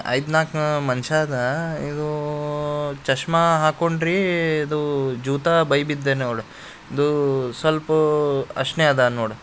ಐದ್ನಾಲಕ್ಕೂ ಮನಷ್ಯ ಅದ ಇದುಉಉಉಉಉ ಚಸ್ಮಾ ಹಾಕೊಂಡ್ರಿ ಇದುಉಉಉ ಜುತಾ ಬೈಬಿದ್ನೆವಲ್ ಇದು ಸ್ವಲ್ಪ್ ಅಷ್ಣೆ ಅದ ನೋಡ್.